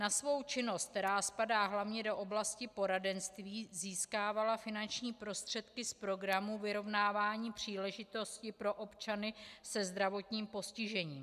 Na svou činnost, která spadá hlavně do oblasti poradenství, získávala finanční prostředky z Programu vyrovnávání příležitostí pro občany se zdravotním postižením.